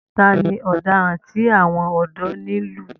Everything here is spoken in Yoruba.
Ta ni ọ̀daràn tí àwọn ọ̀dọ́ ń lù yìí?